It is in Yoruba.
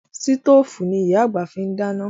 Sítòfù ni Ìyá àgbà fi ń dáná